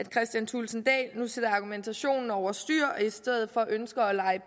kristian thulesen dahl nu sætter argumentationen over styr og i stedet for ønsker at lege